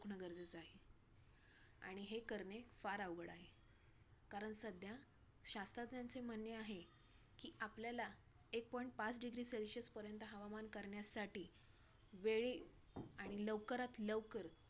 आणि हे करणे फार आवड आहे. कारण सध्या शास्त्रज्ञांचे म्हणणे आहे की आपल्याला एक point पाच degree celsius पर्यंत हवामान करण्यासाठी वेळी आणि लवकारात-लवकर